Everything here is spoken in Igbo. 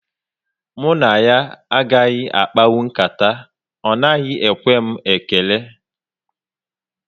Mụ na ya agaghị akpanwu nkata, ọ naghị ekwe m ekele